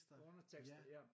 Undertekster ja